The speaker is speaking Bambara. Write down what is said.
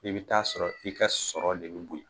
I bi ta'a sɔrɔ i ka sɔrɔ de ɛbe bonɲɛ